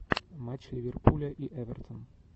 матч ливерпуля и эвертон